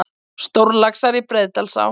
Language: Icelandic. Stórlaxar í Breiðdalsá